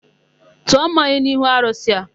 Tụọ mmanya n'ihu arụsị a!